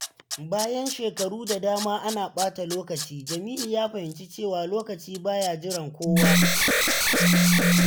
Bayan shekaru da dama ana ɓata lokaci, Jamilu ya fahimci cewa lokaci ba ya jiran kowa.